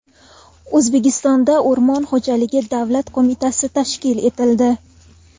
O‘zbekistonda O‘rmon xo‘jaligi davlat qo‘mitasi tashkil etildi.